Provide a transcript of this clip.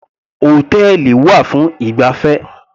Hòtẹ́ẹ̀lì wà fún ìgbafẹ́.